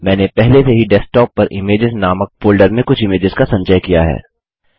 मैंने पहले से ही डेस्कटॉप पर इमेजेस नामक फोल्डर में कुछ इमेजेस का संचय किया है